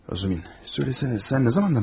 Rozumin, desənə, sən nə vaxtdan bəri buradasan?